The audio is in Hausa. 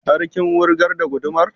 Har kin wurgar da gudumar?